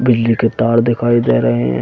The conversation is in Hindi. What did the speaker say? बिजली के तार दिखाई दे रहे हैं।